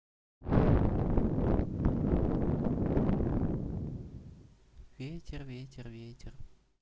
ветер ветер ветер